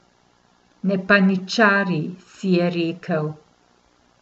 Ne paničari, si je rekel.